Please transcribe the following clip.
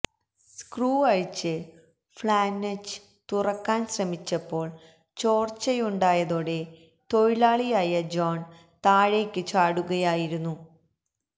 screw അഴിച്ച് flange തുറക്കാന് ശ്രമിച്ചപ്പോള് ചോര്ച്ചയുണ്ടായതോടെ തൊഴിലാളിയായ ജോണ് താഴേക്കു ചാടുകയായിരുന്നു